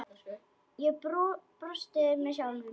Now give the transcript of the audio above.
Ég brosti með sjálfri mér.